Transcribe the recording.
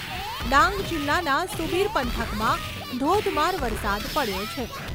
ડાંગ જિલ્લાના સુબિર પંથકમાં ધોધમાર વરસાદ પડ્યો છે.